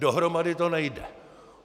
Dohromady to nejde.